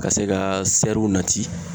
Ka se ka nati